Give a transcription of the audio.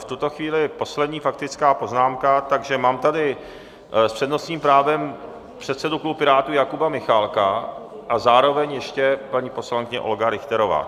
V tuto chvíli poslední faktická poznámka, takže mám tady s přednostním právem předsedu klubu Pirátů Jakuba Michálka a zároveň ještě paní poslankyně Olga Richterová.